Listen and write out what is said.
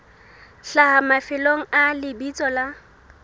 hlaha mafelong a lebitso la